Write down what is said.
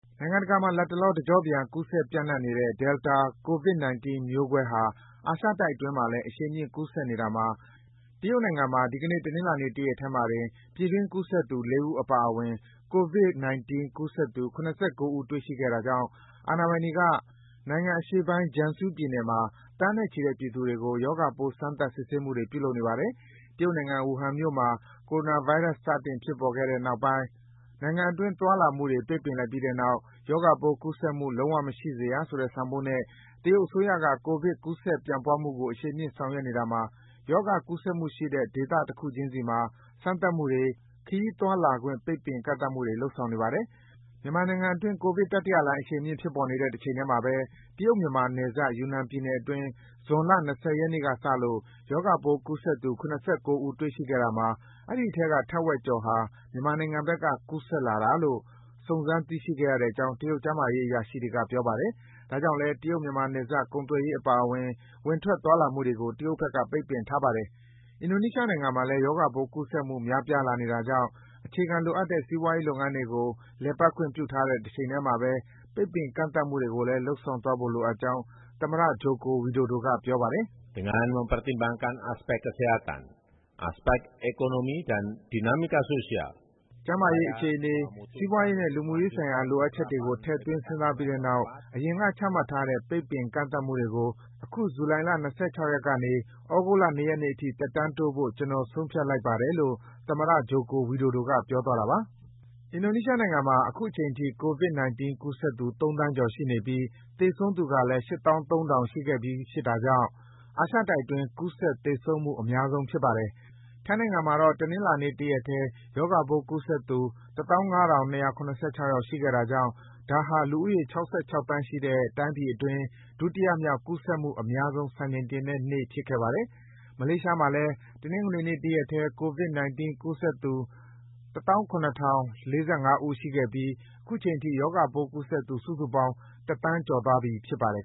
နိုင်ငံတကာမှာ လတ်တလော တကြော့ပြန် ကူးစက် ပြန်နှံ့နေတဲ့ Delta ကိုဗစ်-၁၉ မျိုးကွဲဟာ အာရှတိုက်အတွင်းမှာလည်း အရှိန်မြင့် ကူးစက် နေတာမှာ တရုတ်နိုင်ငံမှာ ဒီကနေ့ တနင်္လာတရက်ထဲမှာတင် ပြည်တွင်း ကူးစက်သူ ၄၀ ဦး အပါအဝင် ကိုဗစ်-၁၉ ကူးစက်သူ ၇၉ ဦး တွေ့ရှိခဲ့တာကြောင့် အာဏာပိုင်တွေက နိုင်ငံအရှေ့ပိုင်း Jiangsu ပြည်နယ်မှာ သန်းနဲ့ချီတဲ့ ပြည်သူတွေကို ရောဂါပိုး စမ်းသပ် စစ်ဆေးမှုတွေ ပြုလုပ်နေပါတယ်။ တရုတ်နိုင်ငံ ဝူဟန်မြို့မှာ ကိုရိုနာဗိုင်းရပ်စ် စတင်ဖြစ်ပေါ်ပြီးတဲ့နောက်ပိုင်း နိုင်ငံအတွင်း သွားလာမှုတွေ ပိတ်ပင်လိုက်ပြီးတဲ့နောက် ရောဂါပိုး ကူးစက်မှု လုံးဝမရှိစေရဆိုတဲ့ ဆောင်ပုဒ်နဲ့ တရုတ်အစိုးရက ကိုဗစ် ကူးစက် ပြန့်ပွားမှုတွေကို အရှိန်မြင့် ဆောင်ရွက်နေတာမှာ ရောဂါ ကူးစက်မှုရှိတဲ့ ဒေသတခုချင်းစီမှာ စမ်းသပ်မှုတွေ၊ ခရီးသွားလာခွင့် ပိတ်ပင် ကန့်သတ်မှုတွေ လုပ်ဆောင်နေပါတယ်။ မြန်မာနိုင်ငံအတွင်း ကိုဗစ် တတိယလှိုင်းအရှိန်မြင့် ဖြစ်ပေါ်နေတဲ့ တချိန်ထဲမှာဘဲ တရုတ်-မြန်မာနယ်စပ်၊ ယူနန်ပြည်နယ်အတွင်း ဇွန်လ ၂၀ ရက်နေ့ကစလို့ ရောဂါပိုးကူးစက်သူ ၇၉ ဦး တွေ့ရှိခဲ့တာမှာ အဲဒီအထဲက ထက်ဝက်ကျော်ဟာ မြန်မာနိုင်ငံဘက်က ကူးစက်လာတာလို့ စုံစမ်း သိရှိခဲ့ရကြောင်း တရုတ် ကျန်းမာရေးအရာရှိတွေက ပြောပါတယ်။ ဒါကြောင့်လည်း တရုတ်-မြန်မာနယ်စပ်မှာ ကုန်သွယ်ရေးအပါအဝင် ဝင်ထွက် သွားလာမှုတွေကို တရုတ်ဘက်က ပိတ်ထားပါတယ်။ အင်ဒိုနီးရှားနိုင်ငံမှာလည်း ရောဂါပိုး ကူးစက်မှု များပြားလာနေတာကြောင့် အခြေခံလိုအပ်တဲ့ စီးပွားရေးလုပ်ငန်းတွေကို လည်ပတ်ခွင့် ပြုထားတဲ့ တချိန်ထဲမှာဘဲ ပိတ်ပင် ကန့်သတ်မှုတွေကိုလည်း လုပ်ဆောင်သွားဖို့ လိုအပ်ကြောင်း သမ္မတ Joko Widodo က ပြောပါတယ်။ “ကျန်းမာရေးအခြေအနေ၊ စီးပွားရေးနဲ့ လူမှုရေးဆိုင်ရာ လိုအပ်ချက်တွေကို ထည့်သွင်း စဉ်းစားပြီးတဲ့နောက် အရင်က ချမှတ်ထားတဲ့ ပိတ်ပင် ကန့်သတ်မှုတွေကို အခု ဇူလိုင်လ ၂၆ ရက်နေ သြဂုတ်လ ၂ ရက်နေ့အထိ သက်တမ်းတိုးဖို့ ကျနော် ဆုံးဖြတ်လိုက်ပါတယ်” - လို့ သမ္မတ Joko Widodo က ပြောသွားတာပါ။ အင်ဒိုနီးရှားနိုင်ငံမှာ အခုချိန်ထိ ကိုဗစ်-၁၉ ကူးစက်သူ ၃ သန်းကျော်ရှိပြီး သေဆုံးသူကလည်း ၈၃,၀၀၀ ရှိခဲ့ပြီးဖြစ်တာကြောင့် အာရှတိုက်အတွင်း ကူးစက် သေဆုံးမှု အများဆုံးဖြစ်ပါတယ်။ ထိုင်းနိုင်ငံမှာတော့ တနင်္လာနေ့ တရက်ထဲ ရောဂါပိုးကူးစက်သူ ၁၅,၂၇၆ ယောက်ရှိခဲ့တာကြောင့် ဒါဟာ လူဦးရေ ၆၆ သန်းရှိတဲ့ တိုင်းပြည်အတွင်း ဒုတိယမြောက် ကူးစက်မှုအများဆုံး စံချိန်တင်တဲ့နေ့ ဖြစ်ခဲ့ပါတယ်။ မလေးရှားမှာလည်း တနင်္ဂနွေနေ့ တရက်ထဲ ကိုဗစ်-၁၉ ကူးစက်သူ ၁၇,၀၄၅ ဦး ရှိခဲ့ပြီး အခုချိန်ထိ ရောဂါပိုးကူးစက်သူ စုစုပေါင်း တသန်းကျော်သွားပြီ ဖြစ်ပါတယ်